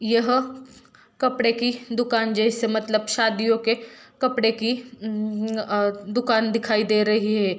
यह कपड़े की दुकान जैसे मतलब शादियों के कपड़े की अ अ दुकान दिखाई दे रही हैं।